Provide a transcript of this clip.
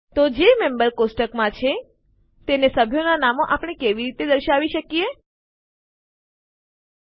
તો આપણે સભ્યનાં નામો કેવી રીતે દર્શાવી શકીએ જે મેમ્બર્સ કોષ્ટકમાં છે